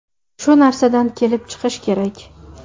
Shu narsadan kelib chiqish kerak.